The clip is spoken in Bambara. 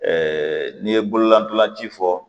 n'i ye bololadolaji fɔ